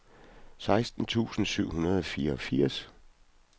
seksten tusind syv hundrede og fireogfirs